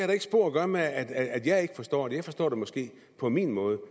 da ikke spor at gøre med at jeg forstår det jeg forstår det måske på min måde